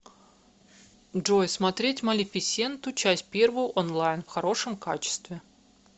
джой смотреть малефисенту часть первую онлайн в хорошем качестве